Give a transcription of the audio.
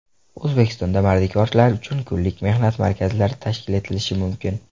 O‘zbekistonda mardikorlar uchun kunlik mehnat markazlari tashkil etilishi mumkin.